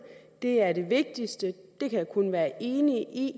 og det er det vigtigste det kan jeg kun være enig i